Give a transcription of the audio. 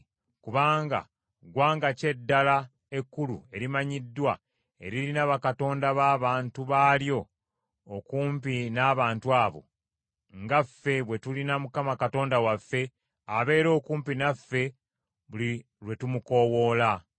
Kubanga ggwanga ki eddala ekkulu erimanyiddwa eririna bakatonda b’abantu baalyo okumpi n’abantu abo, nga ffe bwe tulina Mukama Katonda waffe, abeera okumpi naffe buli lwe tumukoowoola?